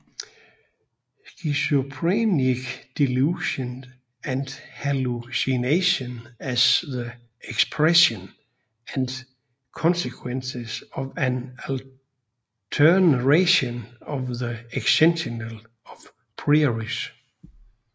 Schizophrenic delusion and hallucination as the expression and consequence of an alteration of the existential a prioris